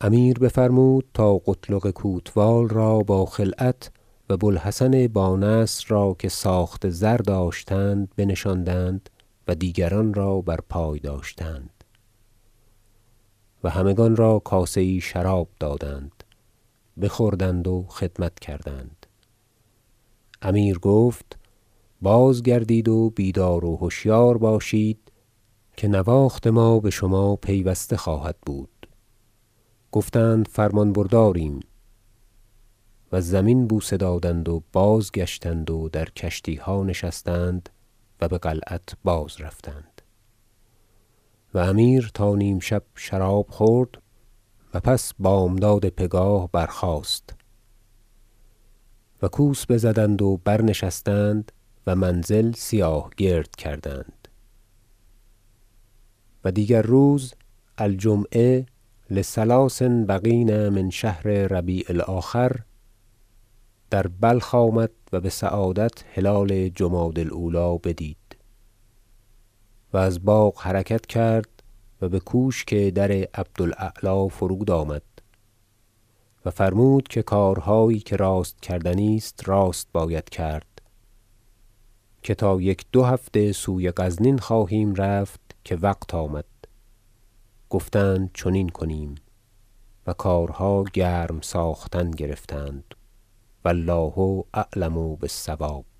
امیر بفرمود تا قتلغ کوتوال را با خلعت و بو الحسن بانصر را که ساخت زر داشتند بنشاندند و دیگران را برپای داشتند و همگان را کاسه یی شراب دادند بخوردند و خدمت کردند امیر گفت بازگردید و بیدار و هشیار باشید که نواخت ما بشما پیوسته خواهد بود گفتند فرمان برداریم و زمین بوسه دادند و بازگشتند و در کشتیها نشستند و بقلعت بازرفتند و امیر تا نیم شب شراب خورد و پس بامداد پگاه برخاست و کوس بزدند و برنشستند و منزل سیاه گرد کردند و دیگر روز الجمعة لثلاث بقین من شهر ربیع الاخر در بلخ آمد و بسعادت هلال جمادی الاولی بدید و از باغ حرکت کرد و بکوشک در عبد الاعلی فرود آمد و فرمود که کارهایی که راست کردنی است راست باید کرد که تا یک دو هفته سوی غزنین خواهیم رفت که وقت آمد گفتند چنین کنیم و کارها گرم ساختن گرفتند و الله اعلم بالصواب